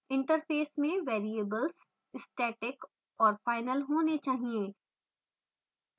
interface में variables static और final होने चाहिए